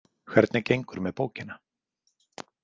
Hvernig gengur með bókina?